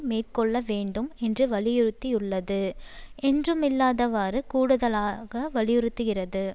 மேற்கொள்ள வேண்டும் என்று வலியுறுத்தியுள்ளது என்றுமில்லாதவாறு கூடுதலாக வலியுறுத்துகிறது